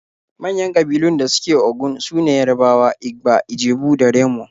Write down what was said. Manyan ƙabilun da suke Ogun su ne Yarabawa, Igba, Ijebu da Remo.